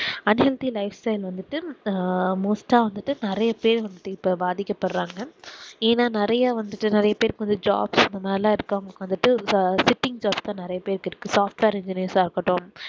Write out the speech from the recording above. un healthy life style வந்துட்டு ஆஹ் most ஆஹ் வந்துட்டு நெறைய பேர் வந்துட்டு இப்போ பாதிக்க படுறாங்க even நெறைய வந்துட்டு நெறைய பேர்க்கு jobs இந்த மாரிலாம் இருக்கவன்களுக்கு வந்துட்டு இப்போ sitting jobs தான் நெறைய பேர்க்கு இருக்கு software engineer ஆஹ் இருக்கட்டும்